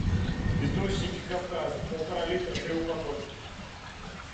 источники кавказа полтора литра три упаковки